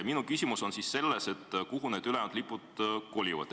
Minu küsimus on, kuhu need ülejäänud lipud kolivad.